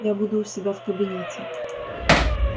я буду у себя в кабинете